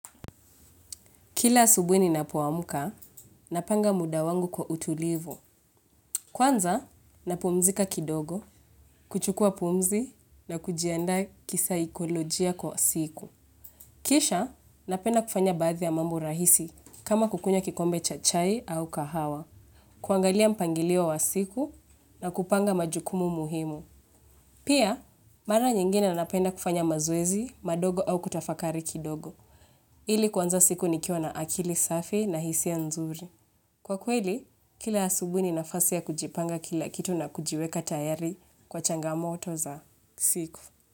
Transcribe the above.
Kila asubui ninapuamuka, napanga muda wangu kwa utulivu. Kwanza, napumzika kidogo, kuchukua pumzi na kujianda kisaikolojia kwa siku. Kisha, napenda kufanya bathi ya mambo rahisi kama kukunya kikombe cha chai au kahawa. Kuangalia mpangilio wa siku na kupanga majukumu muhimu. Pia, mara nyingine napenda kufanya mazoezi, madogo au kutafakari kidogo. Ili kwanza siku nikiwa na akili safi na hisiya nzuri. Kwa kweli, kila asubui ni nafasi ya kujipanga kila kitu na kujiweka tayari kwa changa moto za siku.